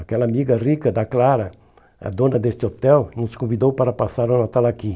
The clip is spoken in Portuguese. Aquela amiga rica da Clara, a dona deste hotel, nos convidou para passar o Natal aqui.